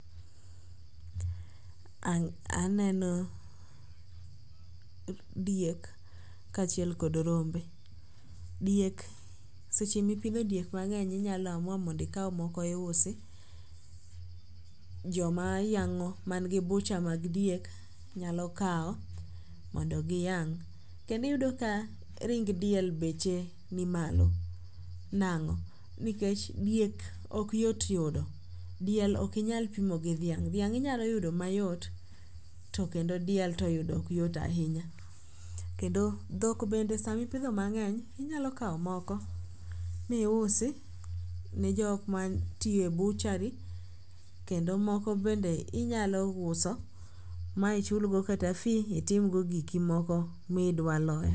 Aneno diek kaachiel kod rombe. Diek seche mipidho diek mang'eny inyalo amua mondo ikaw moko iusi, jomayang'o mangi bucha mag diek nyalo kawo mondo giyang'. Kendi iyudo ka ring diel beche ni malo, nango?, nikech diek okyot yudo. Diel okinyal pimo gi dhiang', dhiang' inyalo yudo mayot to kendo diel to yudo okyot ahinya kendo dhok bende samipidho mang'eny inyalo kawo moko miusi ne jokma tiyo e buchari kendo moko bende inyalo uso ma ichulgo kata fee itimgo giki moko midwaloyo.